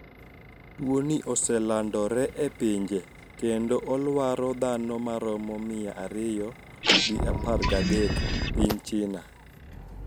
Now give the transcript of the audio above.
Tuoni oselandore e pinje kendo olwaro dhano ma romo mia ariyo gi apar gadek piny China